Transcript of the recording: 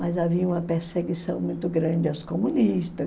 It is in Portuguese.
Mas havia uma perseguição muito grande aos comunista.